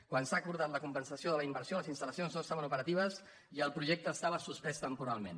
quan s’ha acordat la compensació de la inversió les instal·no estaven operatives i el projecte estava suspès tem·poralment